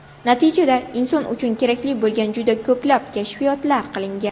Natijada, inson uchun kerakli bo‘lgan juda ko‘plab kashfiyotlar qilingan.